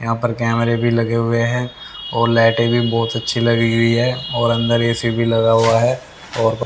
यहां पर कैमरे भी लगे हुए हैं और लाइटे भी बहोत अच्छी लगी हुई है और अंदर ए_सी भी लगा हुआ है और--